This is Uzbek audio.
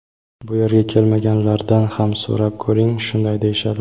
Bu yerga kelmaganlardan ham so‘rab ko‘ring, shunday deyishadi.